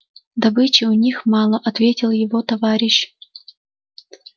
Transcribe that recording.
добычи у них мало ответил его товарищ